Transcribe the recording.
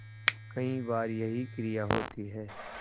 कई बार यही क्रिया होती है